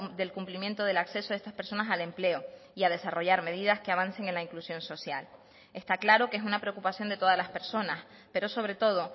del cumplimiento del acceso a estas personas al empleo y a desarrollar medidas que avance en la inclusión social está claro que es una preocupación de todas las personas pero sobre todo